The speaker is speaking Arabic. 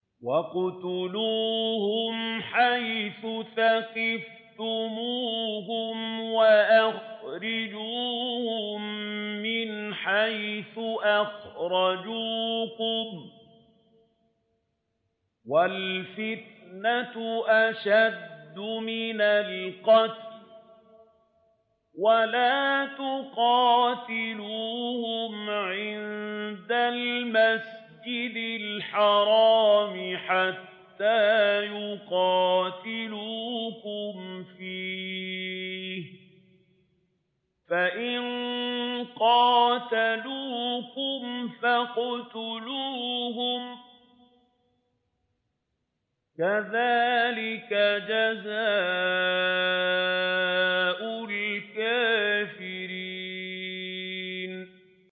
وَاقْتُلُوهُمْ حَيْثُ ثَقِفْتُمُوهُمْ وَأَخْرِجُوهُم مِّنْ حَيْثُ أَخْرَجُوكُمْ ۚ وَالْفِتْنَةُ أَشَدُّ مِنَ الْقَتْلِ ۚ وَلَا تُقَاتِلُوهُمْ عِندَ الْمَسْجِدِ الْحَرَامِ حَتَّىٰ يُقَاتِلُوكُمْ فِيهِ ۖ فَإِن قَاتَلُوكُمْ فَاقْتُلُوهُمْ ۗ كَذَٰلِكَ جَزَاءُ الْكَافِرِينَ